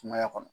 Sumaya kɔnɔ